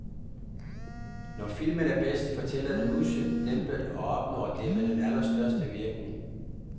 Når filmen er bedst, fortæller den udsøgt dæmpet og opnår dermed den allerstørste virkning.